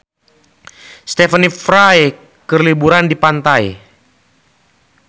Stephen Fry keur liburan di pantai